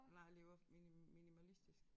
Nej lever mini minimalistisk